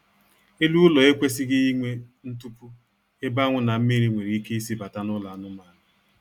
Elu ụlọ ekwesịghị inwe ntupu ebe anwụ na mmiri nwere ike isi bata n'ụlọ anụmaanụ